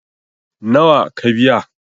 nawa ka biya?